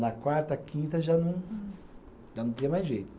Na quarta, quinta, já não, já não tinha mais jeito.